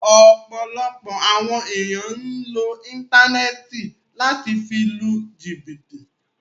Ọ̀pọ̀lọpọ̀ awọn èniyàn ǹ lo íńtánẹ́ẹ̀tì lati fi lu jìbìtì